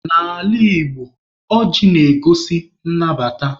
N'ala Igbo, ọjị na-egosi nnabata.